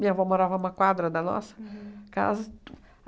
Minha avó morava a uma quadra da nossa casa.